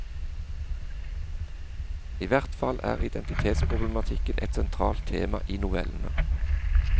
I hvert fall er identitetsproblematikken et sentralt tema i novellene.